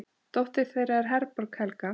Dóttir þeirra er Herborg Helga.